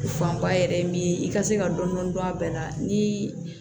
Fanba yɛrɛ ye min ye i ka se ka dɔn dɔn a bɛɛ la ni